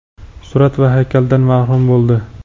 surat va haykaldan mahrum bo‘ldi.